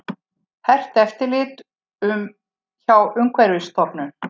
Hert eftirlit hjá Umhverfisstofnun